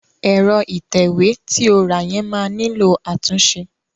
Ẹ̀rọ ìtẹ̀wé ti o rà yẹn máa nílò àtúnṣe.